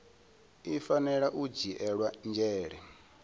i fanela u dzhiela nzhele